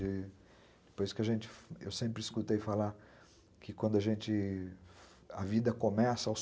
Eu sempre escutei falar que a vida começa aos qua